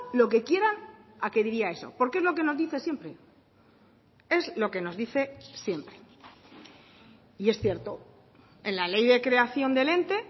lo que quieran a que diría eso porque es lo que nos dice siempre es lo que nos dice siempre y es cierto en la ley de creación del ente